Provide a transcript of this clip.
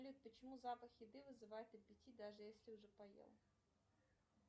почему запах еды вызывает аппетит даже если уже поел